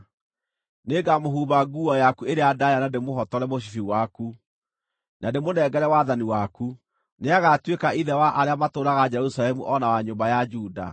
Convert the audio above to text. Nĩngamũhumba nguo yaku ĩrĩa ndaaya na ndĩmũhotore mũcibi waku, na ndĩmũnengere wathani waku. Nĩagatuĩka ithe wa arĩa matũũraga Jerusalemu o na wa nyũmba ya Juda.